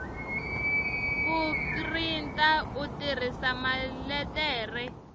ku printa u tirhisa maletere